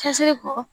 Cɛsiri kɔ